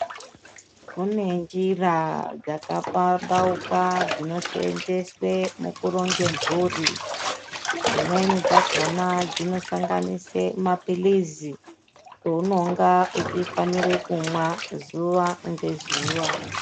Kune njira dzakapambauka dzinoseenzeswe mukuronge mburi. Dzimweni dzakona dzinosanganise maphilizi ounonga uchifanire kumwa zuwa ngezuwa.